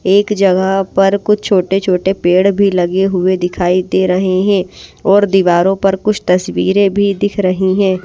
एक जगह पर कुछ छोटे छोटे पेड़ भी लगे हुए दिखाई दे रहे हैं और दीवारों पर कुछ तस्वीरें भी दिख रही है।